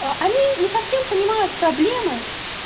а они не совсем понимают проблемы